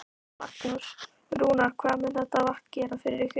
Magnús: Rúnar, hvað mun þetta vatn gera fyrir ykkur?